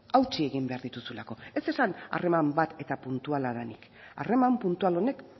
hautsi egin behar dituzulako ez esan harreman bat eta puntuala denik harreman puntual honek